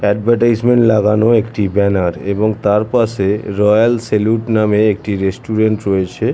Advertisement লাগানো একটি banner | এবং তার পাশে রয়্যাল স্যেলুট নামে একটি রেস্টুরেন্ট রয়েছে।